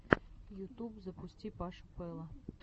ютуб запусти пашу пэла